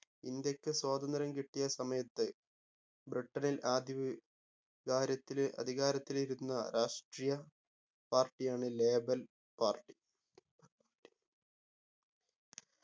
ഇന്ത്യക്ക് സ്വാതന്ത്ര്യം കിട്ടിയ സമയത്ത് ബ്രിട്ടണിൽ ആദ്യവി കാരത്തിൽ അധികാരത്തിലിരുന്ന രാഷ്ട്രീയ party ആണ് label party